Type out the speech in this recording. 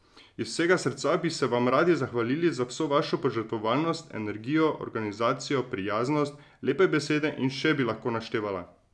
Iz vsega srca bi se vam radi zahvalili za vso vašo požrtvovalnost, energijo, organizacijo, prijaznost, lepe besede in še bi lahko naštevala.